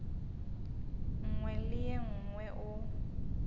nngwe le ye nngwe o